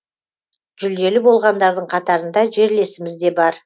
жүлделі болғандардың қатарында жерлесіміз де бар